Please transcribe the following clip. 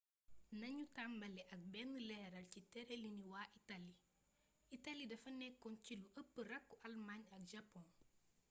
nanu tàmbali ak benn leeral ci tërëliini waa itali itali dafa nekkoon ci lu ëpp rakku' almaañ ak japon